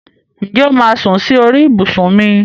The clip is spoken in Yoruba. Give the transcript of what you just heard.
Ǹjẹ́ o máà sún sí orí ibùsùn mi?